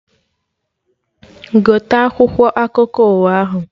Gote akwụkwọ akụkọ ụwa ahụ!